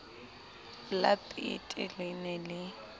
la peete le ne le